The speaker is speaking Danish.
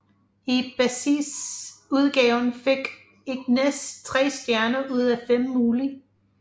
I basisudgaven fik Ignis tre stjerner ud af fem mulige